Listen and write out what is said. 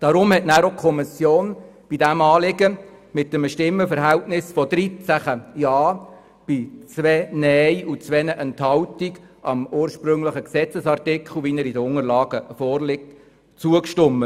Darum stimmte danach die Kommission mit einem Stimmenverhältnis von 13 gegen 2 Stimmen bei 2 Enthaltungen dem ursprünglichen Gesetzesartikel, wie er in den Unterlagen vorliegt, zu.